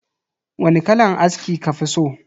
Wani kalan aski kafi so?